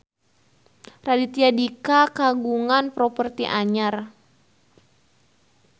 Raditya Dika kagungan properti anyar